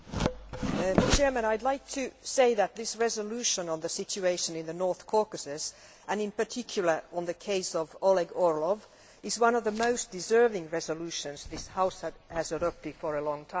Mr President, I would like to say that this resolution on the situation in the North Caucasus, and in particular on the case of Oleg Orlov, is one of the most deserving resolutions this House has adopted for a long time.